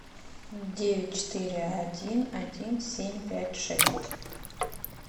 девять четыре один один семь пять шесть